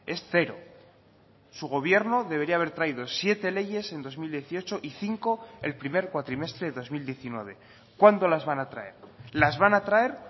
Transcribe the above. es cero su gobierno debería haber traído siete leyes en dos mil dieciocho y cinco el primer cuatrimestre de dos mil diecinueve cuándo las van a traer las van a traer